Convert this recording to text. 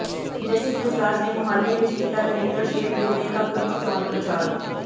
ਜੱਸੀ ਜਸਰਾਜ ਨੇ ਮੁਹਾਲੀ ਵਿੱਚ ਕੀਤਾ ਨਰਿੰਦਰ ਸ਼ੇਰਗਿੱਲ ਦੇ ਹੱਕ ਵਿੱਚ ਚੋਣ ਪ੍ਰਚਾਰ